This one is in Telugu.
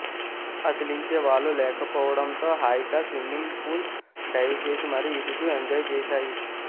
అదిలించే వాళ్లు లేకపోవడంతో హాయిగా స్విమ్మింగ్ పూల్ డైవ్ చేసి మరీ ఈదుతూ ఎంజాయ్ చేశాయి